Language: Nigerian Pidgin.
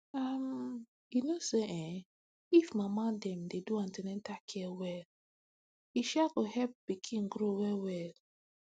um you know say[um]if mama dem dey do an ten atal care well e um go help pikin grow well well